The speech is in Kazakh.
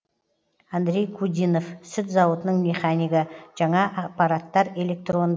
андрей кудинов сүт зауытының механигі жаңа аппараттар электрон